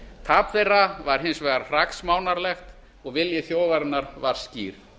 tap þeirra var hins vegar hraksmánarlegt og vilji þjóðarinnar var skýr